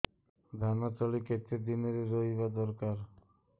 ଧାନ ତଳି କେତେ ଦିନରେ ରୋଈବା ଦରକାର